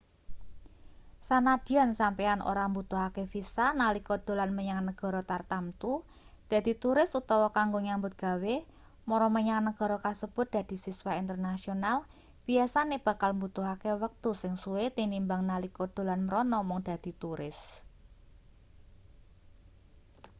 sanadyan sampeyan ora mbutuhake visa nalika dolan menyang negara tartamtu dadi turis utawa kanggo nyambut gawe mara menyang nagara kasebut dadi siswa internasional biyasane bakal mbutuhake wektu sing suwe tinimbang nalika dolan mrana mung dadi turis